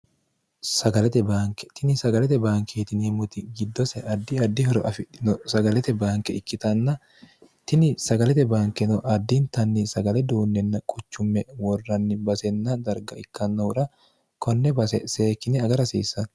sagalete baanke tini sagalete banki hitiniimmuti giddose addi addi horo afidino sagalete banke ikkitanna tini sagalete bankeno addintanni sagale duunninna quchumme worranni basenna darga ikkannohura konne bseekkine agarahasiissanno